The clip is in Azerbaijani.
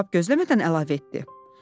Cavab gözləmədən əlavə etdi.